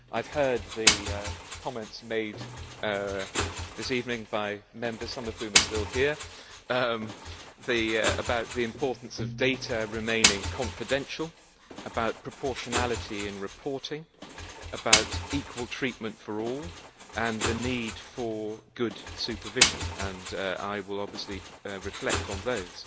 I have heard the comments made this evening by Members some of whom are still here about the importance of data remaining confidential, about proportionality in reporting, about equal treatment for all and the need for good supervision, and I will obviously reflect on those.